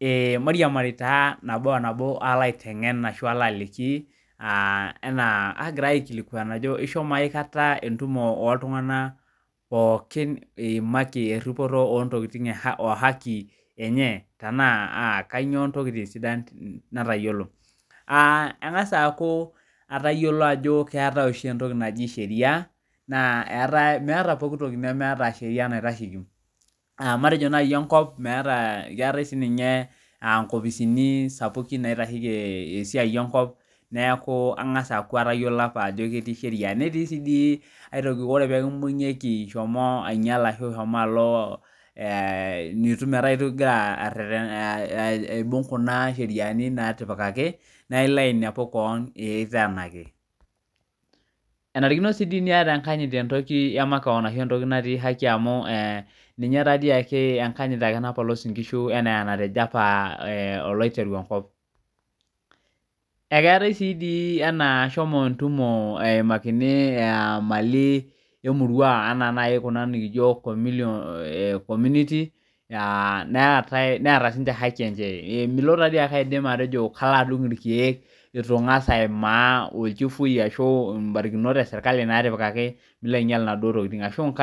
Ee Mariamari taa naboonabo paloaliki enaa agirai aikilikuani ajo ishomo akata entumo naikilikwanaki ltunganak esidano ontokitin ohaki enye na kanyio ntokitin sidan natayiolo atangasa ayiolou ajo eetae oshi entoki naji sheria na meeta pooki toki nemeta sheria naitasheki matejo enkop keeta nkopisini sapukin naitasheki enkip netii si aitoki ore pekimbungieki ingira aretena aibung kuja sheriani natipikaki na ilo ainepu keon kiteenaki enarikino si entoki natii haki amu ninye naati ake enkanyit ake napolos nkishu anaa enatejo apa olaiterubenkop akeetae ai ashomo entumo emakini ntokitin emurua anaa nai ena nikijo community neeta haki enye milo nai ashomo alo adung irkiek itu ingasa aimaa mbarikinot eserkali ashu iko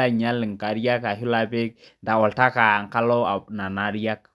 ainyal nkariak ashu ilo apik oltaka enkalo nona ariak.